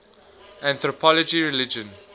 anthropology of religion